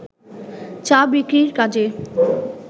চা বিক্রির কাজে